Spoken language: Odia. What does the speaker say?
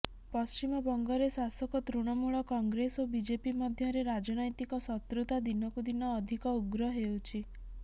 ପଶ୍ଚିମବଙ୍ଗରେ ଶାସକ ତୃଣମୂଳ କଂଗ୍ରେସ ଓ ବିଜେପି ମଧ୍ୟରେ ରାଜନୈତିକ ଶତ୍ରୁତା ଦିନକୁ ଦିନ ଅଧିକ ଉଗ୍ର ହେଉଛି